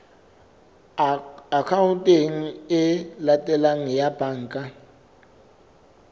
akhaonteng e latelang ya banka